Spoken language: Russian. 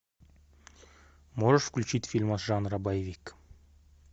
можешь включить фильм жанра боевик